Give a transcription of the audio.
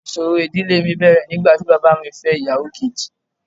Ìṣòro ìdílé mi bẹ̀rẹ̀ nígbà tí bàbá mi fẹ́ ìyàwó kejì.